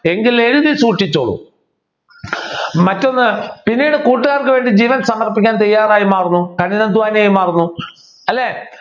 എങ്കിൽ എഴുതി സൂക്ഷിച്ചോളൂ മറ്റൊന്ന് പിന്നീട് കൂട്ടുകാർക്കു വേണ്ടി ജീവൻ സമർപ്പിക്കാൻ തയ്യാറായി മാറുന്നു കഠിനാധ്വാനിയായി മാറുന്നു അല്ലെ